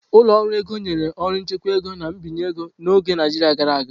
Ụlọ ọrụ ego nyere ọrụ nchekwa ego na mbinye ego n'oge Naijiria gara aga.